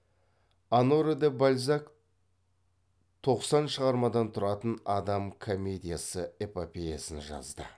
оноре де бальзак тоқсан шығармадан тұратын адам комедиясы эпопеясын жазды